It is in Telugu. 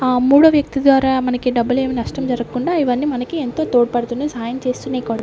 ఆ మూడో వ్యక్తి ద్వారా మనకి డబ్బులు ఏమి నష్టం జరగకుండా ఇవన్నీ మనకి ఎంతో తోడుపడుతూనే సహాయం చేస్తున్నాయి కూడా.